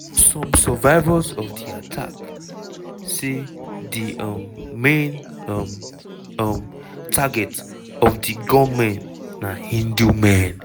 some survivors of di attack say di um main um um targets of di gunmen na hindu men.